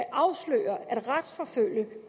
afsløre retsforfølge